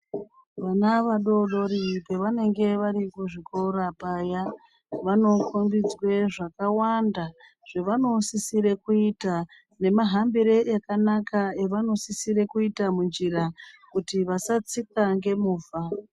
Vana vadodori pavanenge vari kuzvikora paya ,vano kombidzwe zvakawanda zvavanosisire kuyita ,nemahambire akanaka avanosisire kuyita munjira, kuti vasatsikwa ngemovha.